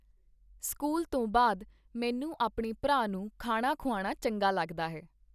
School ਤੋ ਬਾਅਦ ਮੈਨੂੰ ਆਪਣੇ ਭਰਾ ਨੁੂੰ ਖਾਣਾ ਖ਼ੁਆਨਾ ਚੰਗਾ ਲੱਗਦਾ ਹੈ।